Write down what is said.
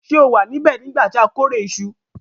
Se o wa nibẹ̀ nígbà ti a kórè isu